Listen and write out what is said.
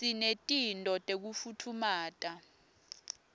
sinetinto tekufutfumata